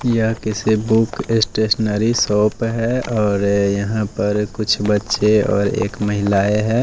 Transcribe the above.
यह किसी book stationery shop है और ये यहां पर कुछ बच्चे और एक महिलाएं है।